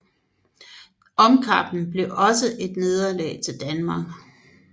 Omkampen blev også et nederlag til Danmark